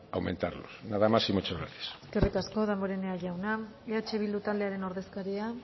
aumentarlos nada más y muchas gracias eskerrik asko damborenea jauna eh bildu taldearen ordezkaria